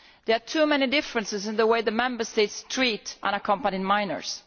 There are too many differences in the way the Member States treat unaccompanied minors.